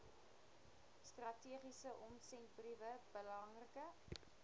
strategiese omsendbriewe belangrike